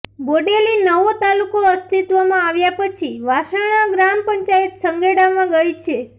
બોડેલી નવો તાલુકો અસ્થિત્વમાં આવ્યા પછી વાસણા ગ્રામ પંચાયત સંખેડામાં ગઇ છે